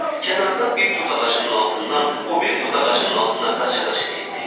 Kənardan bir tozağacının altından o biri tozağacının altına qaça-qaça getdi.